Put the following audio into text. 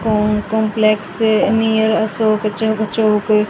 Com complex near Ashok चौ चौक।